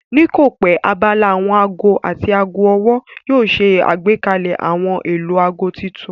Ní kòpẹ́ abala àwọn aago àti aago ọwọ́ yóò ṣe àgbékalẹ̀ ohun èlò aago tuntun